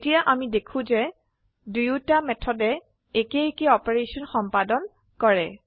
এতিয়া আমি দেখো যে দোয়োটা উভয় মেথডে একে একে অপাৰেশন সম্পাদন কৰে